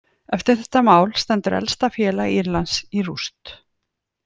Eftir þetta mál stendur elsta félag Írlands í rúst.